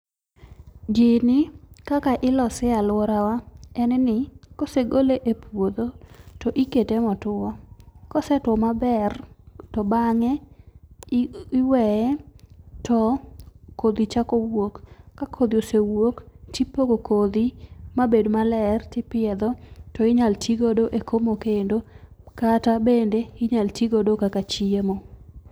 Gini, kaka ilose e lworawa en ni, kosegole e puodho, to ikete motwo. Kosetwo maber, to bang'e iweye to kodhi chako wuok. Ka kodhi osewuok, tipogogo kodhi mabed maler tipiedho to inyalo tigodo e komo kendo kata bende inyal ti godo kaka chiemo.